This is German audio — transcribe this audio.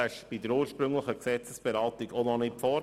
Er lag bei der ursprünglichen Gesetzesberatung noch nicht vor.